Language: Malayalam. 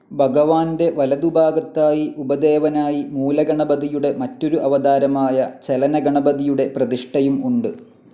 ഭഗവാന്റെ വലതുഭാഗത്തായി ഉപദേവനായി മൂലഗണപതിയുടെ മറ്റൊരു അവതാരമായ ചലനഗണപതിയുടെ പ്രതിഷ്ഠയും ഉണ്ട്.